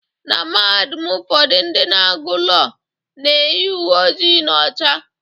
Na Mahadum ụfọdụ ndị na-agu Lọọ na-eyi uwe ojii na ọcha.